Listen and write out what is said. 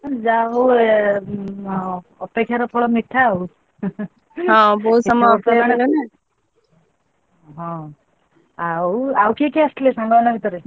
ଯାହା ହଉ ଅପେକ୍ଷାର ଫଳ ମିଠା ଆଉ ହଁ ଆଉ ଆଉ କିଏ କିଏ ଆସିଥିଲେ ସାଙ୍ଗମାନଙ୍କ ଭିତରେ?